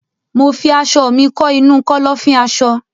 Mo fi aṣọ mi kọ́ inu Kọ́lọ́fín aṣọ